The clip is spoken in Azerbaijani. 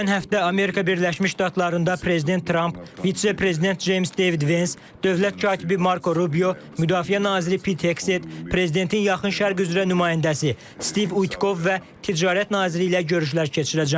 Gələn həftə Amerika Birləşmiş Ştatlarında Prezident Tramp, Vitse-Prezident Ceyms Devid Vens, Dövlət Katibi Marko Rubio, Müdafiə Naziri Pitexet, Prezidentin Yaxın Şərq üzrə nümayəndəsi Stiv Uykov və Ticarət Nazirliyi ilə görüşlər keçirəcəm.